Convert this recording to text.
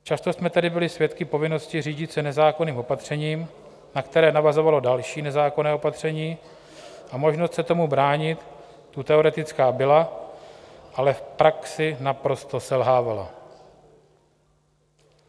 Často jsme tedy byli svědky povinnosti řídit se nezákonným opatřením, na které navazovalo další nezákonné opatření, a možnost se tomu bránit tu teoretická byla, ale v praxi naprosto selhávala.